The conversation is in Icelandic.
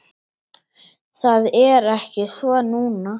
Það er ekki svo núna.